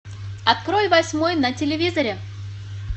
открой восьмой на телевизоре